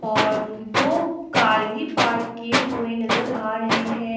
और दो कार भी पार्क किए हुए नजर आ रहे हैं।